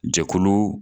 Jɛkulu